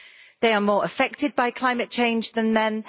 They are more affected by climate change than men